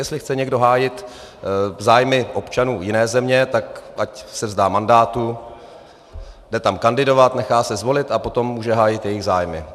Jestli chce někdo hájit zájmy občanů jiné země, tak ať se vzdá mandátu, jde tam kandidovat, nechá se zvolit a potom může hájit jejich zájmy.